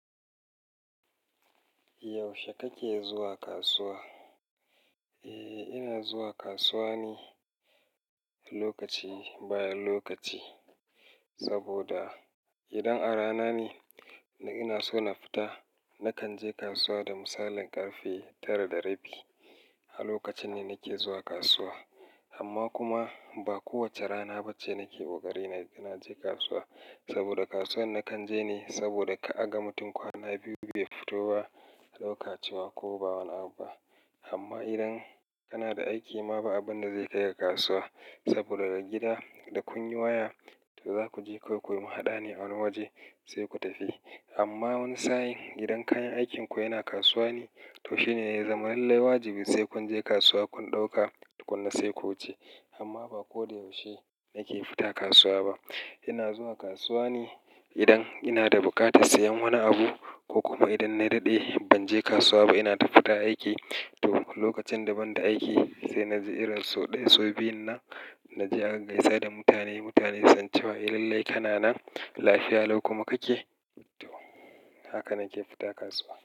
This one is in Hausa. Yaushe kake zuwa kasuwa? Eh, ina zuwa kasuwa ne lokaci bayan lokaci. Saboda idan a rana ne ina so na fita, nakan je kasuwa da misalin ƙarfe tara da rabi. Lokacin ne nake zuwa kasuwa. Amma kuma ba kowace rana ba ce nake ƙoƙari na je kasuwa. Saboda kasuwar da nakan je ne, saboda ka aga mutum kwana biyu bai fito ba lokaci ba ko wani abu ba. Amma idan kana da aiki ma ba abin da zai kai ka kasuwa. Saboda daga gida da kun yi waya, to za ku je ku yi muhaɗa ne a wani waje sai ku tafi. Amma wani sa'in gidan kayan aikinku yana kasuwa ne, to shine yanzu malal wajibi sai kun je kasuwa kun ɗauka kun kai ko wuce. Amma ba kodayaushe nake fita kasuwa ba. Ina zuwa kasuwa ne idan ina da buƙatar sayen wani abu ko kuma idan na daɗe ban je kasuwa ba ina tafita aiki. To, lokacin da ban da aiki sai na je irin sau ɗaya, sau biyu na je a gaisa da mutane, mutane sancewa. Iallai kanan lafiya lau kuma kake. To, haka nake fita kasuwa.